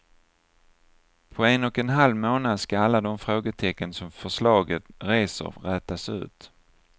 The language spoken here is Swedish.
På en och en halv månad ska alla de frågetecken som förslaget reser rätas ut.